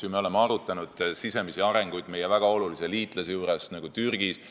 Me oleme arutanud sisemisi arenguid ka meie väga olulises liitlasriigis Türgis.